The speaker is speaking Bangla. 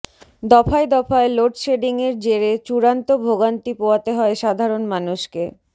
দফায় দফায় লোডশেডিংয়ের জেরে চূড়ান্ত ভোগান্তি পোয়াতে হয় সাধারণ মানুষকে